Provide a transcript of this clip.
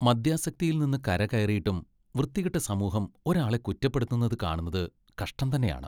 മദ്യാസക്തിയിൽ നിന്ന് കരകയറിയിട്ടും വൃത്തികെട്ട സമൂഹം ഒരാളെ കുറ്റപ്പെടുത്തുന്നത് കാണുന്നത് കഷ്ടം തന്നെയാണ്.